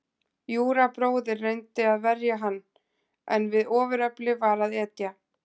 Júra bróðir reyndi að verja hann, en við ofurefli var að etja.